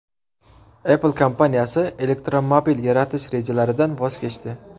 Apple kompaniyasi elektromobil yaratish rejalaridan voz kechdi.